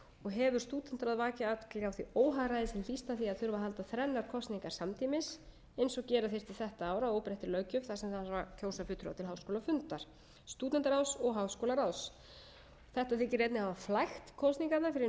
og hefur stúdentaráð vakið athygli á því óhagræði sem hlýst af því að þurfa að halda þrennar kosningar samtímis eins og gera þyrfti þetta ár að óbreyttri löggjöf þar sem það þarf að kjósa fulltrúa til háskólafundar stúdentatráðs og háskólaráðs þetta þykir einnig hafa flækt kosningarnar fyrir hinum almenna nemanda sem